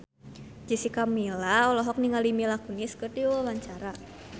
Jessica Milla olohok ningali Mila Kunis keur diwawancara